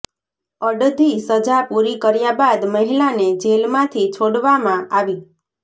અડધી સજા પૂરી કર્યા બાદ મહિલાને જેલમાંથી છોડવામાં આવી